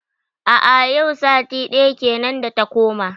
A a yau sati daya kenan da ta koma.